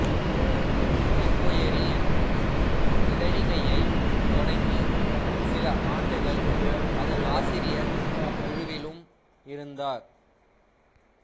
enquiry என்னும் இதழிகையைத் தொடங்கி சில ஆண்டுகள் அதன் ஆசிரியர் குழுவிலும் இருந்தார்